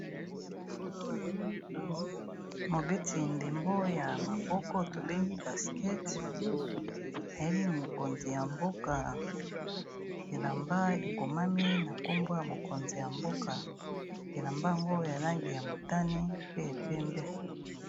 Mobéti ndembo ya maboko tobéngi basket ayéli mokonzi ya mboka élamba ékomami na kombo ya mokonzi ya mboka élamba yango ya langi ya motané pe ya pembé.